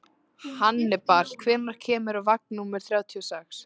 Hannibal, hvenær kemur vagn númer þrjátíu og sex?